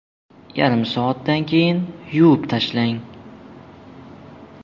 Yarim soatdan keyin yuvib tashlang.